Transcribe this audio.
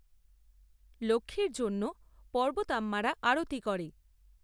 লক্ষ্মীর জন্য পর্বতাম্মারা আরতি করে।